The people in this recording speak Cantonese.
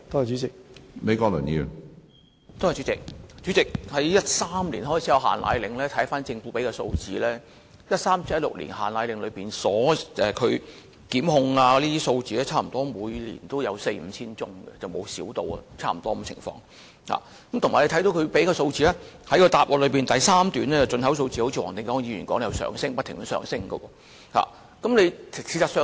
主席，根據政府提供的數字，從2013年實施"限奶令"至2016年期間，因違反《規例》而被檢控的個案，每年均有四五千宗，未見大幅減少，而從主體答覆第二部分所列舉的配方粉進口貨量可見，一如黃定光議員所說，配方粉的需求量仍不斷上升。